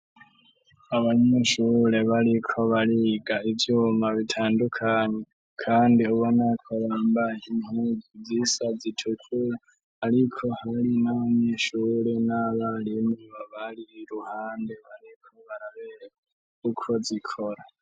Abanyeshure bariko bariga ivyuma bitandukanye kandi ubonako bambaye impuzu zisa zitukura, ariko harimwo n'abanyeshure n'abarimu bari k'uruhande bariko barabereka uko zikora.